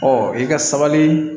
Ɔ i ka sabali